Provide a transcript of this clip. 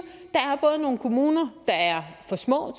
at nogle kommuner der er for små